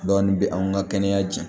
Dɔɔnin bɛ anw ka kɛnɛya diɲɛ